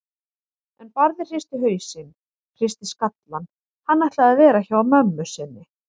En Barði hristi hausinn, hristi skallann, hann ætlaði að vera hjá mömmu sinni.